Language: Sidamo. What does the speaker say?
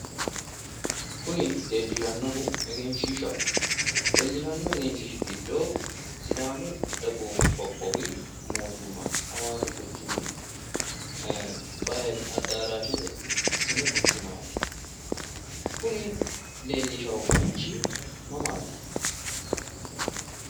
Kuni leellishannohu egenshiishshaho. Leellishanno egenshiishshi giddo sidaamu dagoomi mootimma hawaasi quchumi bahili addaraashshete sini quchumaati. kuni leellisharichi mamaati?